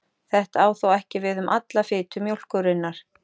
Þetta á þó ekki við um alla fitu mjólkurinnar.